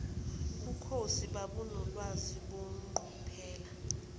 bukhosi babunolwazi beqophelo